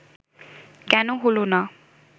কেন হলো না